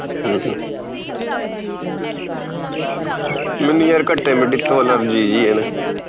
ਹਮ ਹਮ ਮੈਨੂੰ ਯਾਰ ਘੱਟੇ ਮਿੱਟੀ ਤੋਂ allergy ਜੀ ਆ ਨਾ